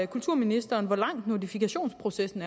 kulturministeren hvor lang er notifikationsprocessen